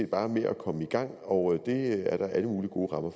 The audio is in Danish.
bare med at komme i gang og det er der alle mulige gode rammer